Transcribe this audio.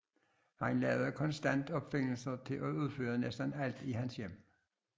Han laver konstant opfindelser til at udføre næsten alt i hans hjem